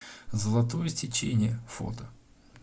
золотое сечение фото